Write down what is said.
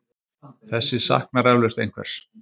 Þessi saknar eflaust einhvers.